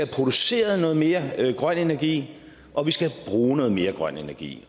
produceret noget mere grøn energi og vi skal bruge noget mere grøn energi